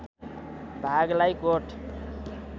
भागलाई कोट